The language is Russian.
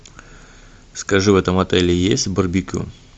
скажи в этом отеле есть барбекю